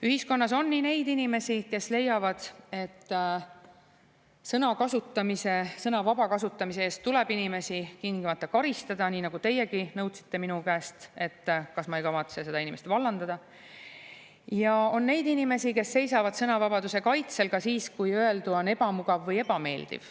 Ühiskonnas on nii neid inimesi, kes leiavad, et sõna vaba kasutamise eest tuleb inimesi tingimata karistada – nii nagu teiegi nõudsite minu käest, et kas ma ei kavatse seda inimest vallandada –, kui ka neid inimesi, kes seisavad sõnavabaduse kaitsel ka siis, kui öeldu on ebamugav või ebameeldiv.